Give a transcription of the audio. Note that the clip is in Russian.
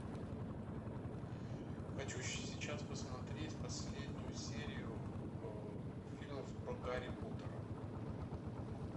хочу сейчас посмотреть последнюю серию фильмов про гарри поттера